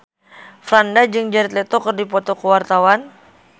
Franda jeung Jared Leto keur dipoto ku wartawan